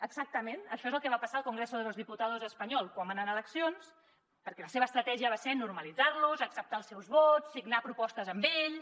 exactament això és el que va passar al congreso de los diputados espanyol quan van anar a eleccions perquè la seva estratègia va ser normalitzar los acceptar els seus vots signar propostes amb ells